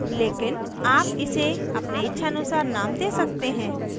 लेकिन आप इसे अपने इच्छानुसार name दे सकते हैं